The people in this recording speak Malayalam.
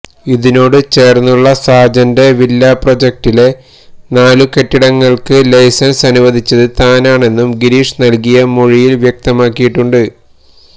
ഇതിനോട് ചേർന്നുള്ള സാജന്റെ വില്ലാ പ്രോജക്ടിലെ നാല് കെട്ടിടങ്ങൾക്ക് ലൈസൻസ് അനുവദിച്ചത് താനാണെന്നും ഗിരീഷ് നൽകിയ മൊഴിയിൽ വ്യക്തമാക്കിട്ടുണ്ട്